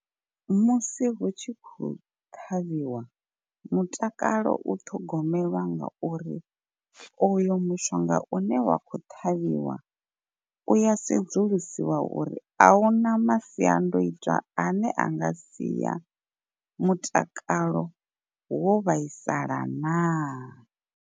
Musi hu tshi khou ṱhavhiwa, mutakalo u ṱhogomelwa nga uri uyo mushonga une wa khou ṱhavhiwa u ya sedzulusiwa uri ahuna masiandoitwa ane anga sia mutakalo wo vhaisala naa.